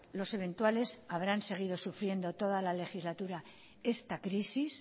los eventuales habrán seguido sufriendo toda la legislatura esta crisis